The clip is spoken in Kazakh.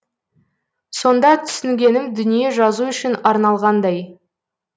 сонда түсінгенім дүние жазу үшін арналғандай